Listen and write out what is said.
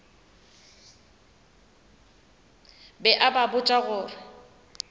be a ba botša gore